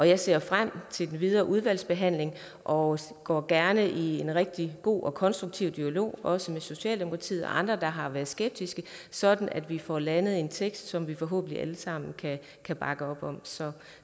jeg ser frem til den videre udvalgsbehandling og går gerne i en rigtig god og konstruktiv dialog også med socialdemokratiet og andre der har været skeptiske sådan at vi får landet en tekst som vi forhåbentlig alle sammen kan bakke op om så